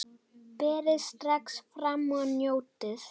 Berið strax fram og njótið!